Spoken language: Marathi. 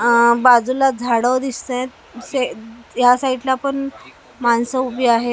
अ बाजूला झाडं दिसत आहेत से या साईडला पण माणसं उभी आहेत .